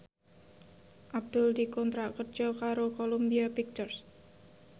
Abdul dikontrak kerja karo Columbia Pictures